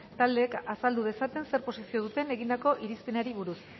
taldeek azaldu dezaten zer posizio duten egindako irizpenari buruz